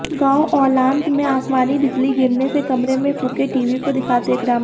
गांव औलांत में आसमानी बिजली गिरने से कमरे में फुंके टीवी को दिखाते ग्रामीण